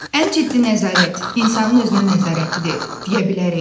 Ən ciddi nəzarət insanın özünə nəzarətidir, deyə bilərik?